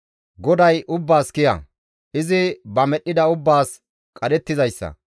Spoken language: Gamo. GODAY ubbaas kiya; izi ba medhdhida ubbaas qadhettizayssa.